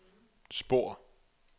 spor